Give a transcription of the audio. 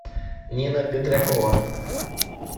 нина петракова